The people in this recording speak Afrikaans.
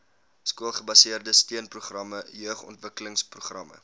skoolgebaseerde steunprogramme jeugontwikkelingsprogramme